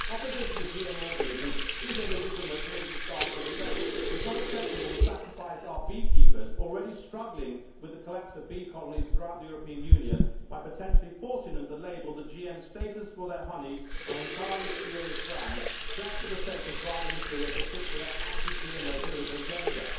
Opposition to GM organisms is a legitimate political stance, but it is not acceptable to sacrifice our beekeepers already struggling with the collapse of bee colonies throughout the European Union by potentially forcing them to label the GM status of their honey on entirely spurious grounds, just for the sake of driving through a particular anti GMO political agenda.